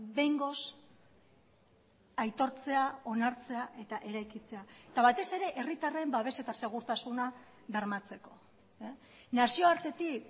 behingoz aitortzea onartzea eta eraikitzea eta batez ere herritarren babes eta segurtasuna bermatzeko nazioartetik